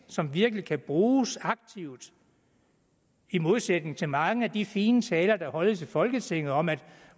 som virkelig kan bruges aktivt i modsætning til mange af de fine taler der holdes i folketinget om at